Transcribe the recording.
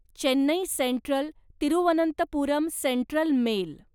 Chennai central Thiruvananthapuram central mail